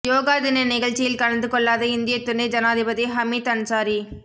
யோகா தின நிகழ்ச்சியில் கலந்து கொள்ளாத இந்திய துணை ஜனாதிபதி ஹமீத் அன்சாரி